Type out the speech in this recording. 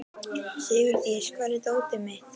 Sigurdís, hvar er dótið mitt?